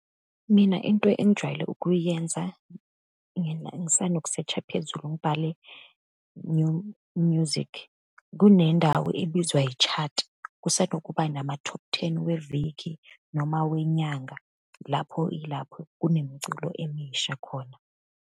Mina into engijwayele ukuyenza ngisanokusetsha phezulu ngibhale music. Kunendawo ebizwa yi-chat, kusanokuba nama-top ten weviki, noma, wenyanga. Lapho yilapho kunemiculo emisha khona.